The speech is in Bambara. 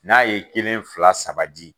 N'a ye kelen fila saba di